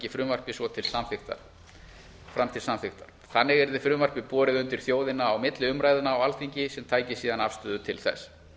frumvarpið svo fram til samþykktar þannig yrði frumvarpið borið undir þjóðina á milli umræðna á alþingi sem tæki síðan afstöðu til þess